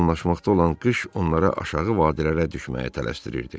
Yaxınlaşmaqda olan qış onlara aşağı vadilərə düşməyə tələsdirirdi.